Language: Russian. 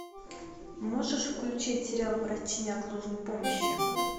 можешь включить сериал врачи неотложной помощи